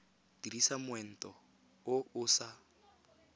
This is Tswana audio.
dirisa moento o o sa